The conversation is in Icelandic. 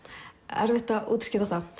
erfitt að útskýra það